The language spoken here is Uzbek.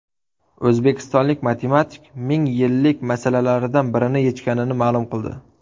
O‘zbekistonlik matematik mingyillik masalalaridan birini yechganini ma’lum qildi .